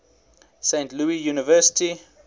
saint louis university